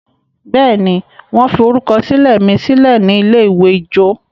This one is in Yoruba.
béèni wan forukọsilẹ mí silẹ ní ilé-ìwé ijó?